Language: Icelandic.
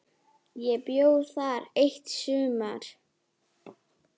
Ég bjó þar eitt sumar.